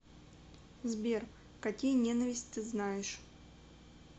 сбер какие ненависть ты знаешь